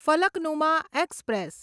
Falaknuma express